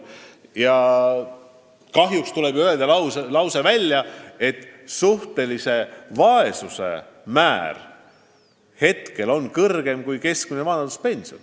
Kahjuks tuleb nentida, et suhtelise vaesuse määr praegu on suurem kui keskmine vanaduspension.